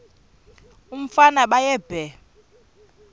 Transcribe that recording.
umfana baye bee